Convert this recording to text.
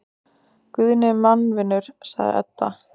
Guðni er mannvinur, sagði Edda.